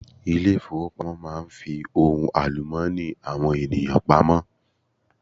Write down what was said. Ilé ìfowópamọ́ máa n fi ohun àlùmọ́ọ́nì àwọn ènìyàn pamọ́